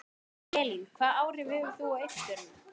Elín: Hvaða áhrif hefur það á uppskeruna?